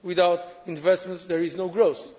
Without investments there is no growth.